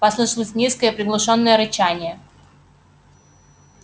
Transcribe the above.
послышалось низкое приглушённое рычание